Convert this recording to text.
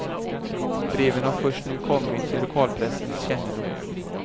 Breven har först nu kommit till lokalpressens kännedom.